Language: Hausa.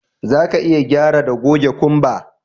Zaka iya gyara da goge kumba